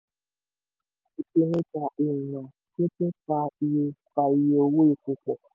ìpèníjà ìrìnà pínpín fa iye fa iye owó epo pọ̀.